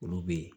Olu bɛ yen